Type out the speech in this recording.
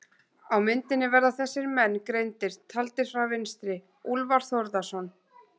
Á myndinni verða þessir menn greindir, taldir frá vinstri: Úlfar Þórðarson